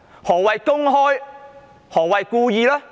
何謂"公開"、何謂"故意"呢？